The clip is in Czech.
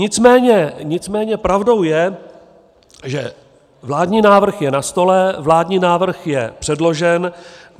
Nicméně pravdou je, že vládní návrh je na stole, vládní návrh je předložen.